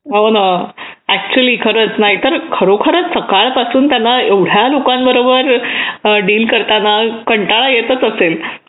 हो ना ऍक्च्युली खरंच नाहीतर खरोखरच सकाळपासून त्यांना एवढ्या लोकांबरोबर डील करताना कंटाळा येतच असेल